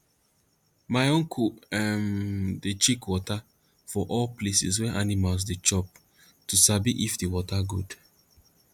my uncle um dey check water for all places wey animals dey chop to sabi if the water good